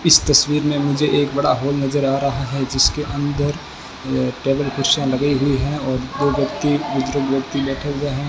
इस तस्वीर में मुझे एक बड़ा हॉल नजर आ रहा है जिसके अंदर अ टेबल कुर्सियां लगी हुई है और दो व्यक्ति बुजुर्ग व्यक्ति बैठे हुए हैं।